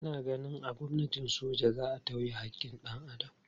Ina ganin a gwamnatin soja za a tauye haƙƙin dan Adam.